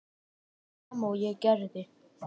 Það sama og ég gerði.